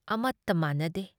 ꯑꯃꯠꯇ ꯃꯥꯟꯅꯗꯦ ꯫